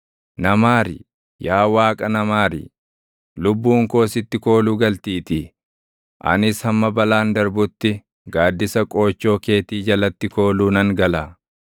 Na maari; yaa Waaqa na maari; lubbuun koo sitti kooluu galtiitii. Anis hamma balaan darbutti, gaaddisa qoochoo keetii jalatti kooluu nan gala.